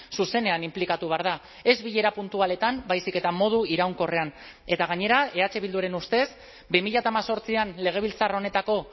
zuzenean inplikatu behar da ez bilera puntualetan baizik eta modu iraunkorrean eta gainera eh bilduren ustez bi mila hemezortzian legebiltzar honetako